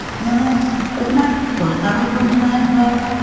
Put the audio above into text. মানে সেইবিলাক চৰকাৰৰ দোষ নাই বা